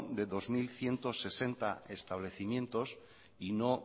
de dos mil ciento sesenta establecimientos y no